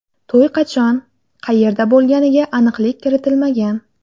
To‘y qachon, qayerda bo‘lganiga aniqlik kiritilmagan.